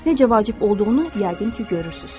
Necə vacib olduğunu yəqin ki, görürsünüz.